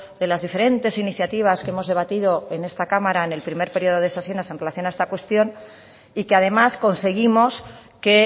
de las diferentes iniciativas que hemos debatido en esta cámara en el primer periodo de sesiones en relación a esta cuestión y que además conseguimos que